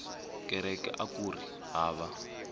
kereke akuri hava